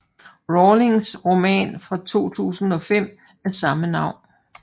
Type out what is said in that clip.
Rowlings roman fra 2005 af samme navn